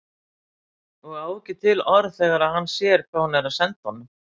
Og á ekki til orð þegar hann sér hvað hún er að senda honum.